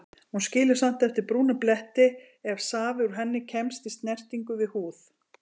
Hún skilur samt eftir brúna bletti ef safi úr henni kemst í snertingu við húð.